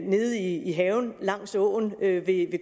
nede i haven langs åen ved ved